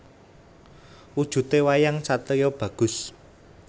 Wujudé wayang satriya bagus